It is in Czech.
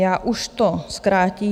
Já už to zkrátím.